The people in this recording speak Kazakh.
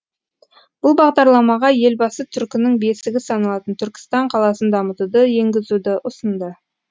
бұл бағдарламаға елбасы түркінің бесігі саналатын түркістан қаласын дамытуды енгізуді ұсынды